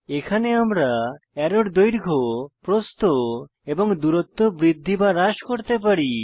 এখানে আমরা অ্যারোর দৈর্ঘ্য প্রস্থ এবং দূরত্ব বৃদ্ধি বা হ্রাস করতে পারি